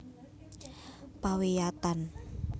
Pawiyatan